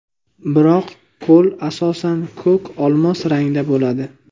Biroq ko‘l asosan ko‘k-olmos rangda bo‘ladi.